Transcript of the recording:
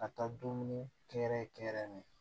Ka taa dumuni kɛ yɛrɛ